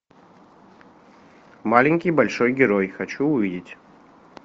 маленький большой герой хочу увидеть